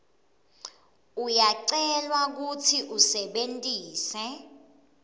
uyacelwa kutsi usebentise